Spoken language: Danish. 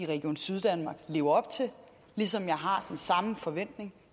region syddanmark lever op til ligesom jeg har den samme forventning